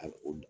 A o